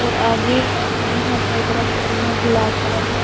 और आगे स्क्रीन है बहोत बड़ा स्क्रीन है ब्लैक कलर का--